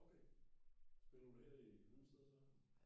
Okay spiller du her i Hundested så?